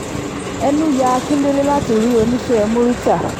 ẹnu ya akíndélé láti rí oníṣẹ́ murità